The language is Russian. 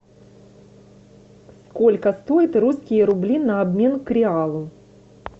сколько стоит русские рубли на обмен к реалу